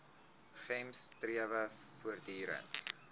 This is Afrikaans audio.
gems strewe voortdurend